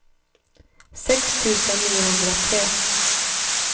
sex tusen niohundratre